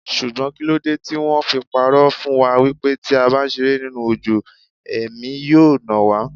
Ṣùgbọ́n kíló de tí wón fi pa'rọ́ fún wa wípé tí a bá ṣeré nínú òjò, Ẹ̀mí yóò nà wá?